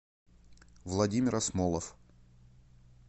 владимир асмолов